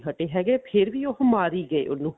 ਹਟੇ ਹੈਗੇ ਫ਼ੇਰ ਉਹ ਮਾਰੀ ਗਏ ਉਹਨੂੰ